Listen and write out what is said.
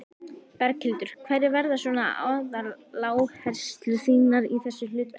Berghildur: Hverjar verða svona aðaláherslur þínar í þessu hlutverki?